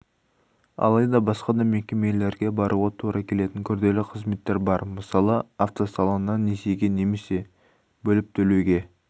алайда басқа да мекемелерге баруға тура келетін күрделі қызметтер бар мысалы автосалоннан несиеге немесе бөліп төлеуге